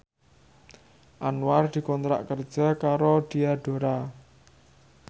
Anwar dikontrak kerja karo Diadora